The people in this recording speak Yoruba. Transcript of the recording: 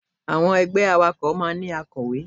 Àwọn ẹgbẹ́ awakọ̀ máa ń ní akọ̀wé.